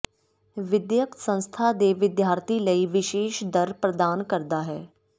ਵਿਦਿਅਕ ਸੰਸਥਾ ਦੇ ਵਿਦਿਆਰਥੀ ਲਈ ਵਿਸ਼ੇਸ਼ ਦਰ ਪ੍ਰਦਾਨ ਕਰਦਾ ਹੈ